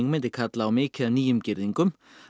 myndi kalla á mikið af nýjum girðingum